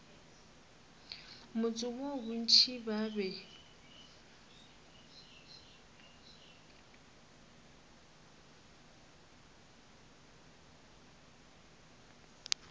motse woo bontši ba be